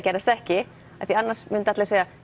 gerðist ekki af því annars myndu allir segja